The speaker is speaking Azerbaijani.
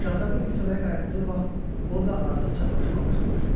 Şahzadə qız sıraya qayıtdığı vaxt orda artıq çaqlaşma başlamışdı.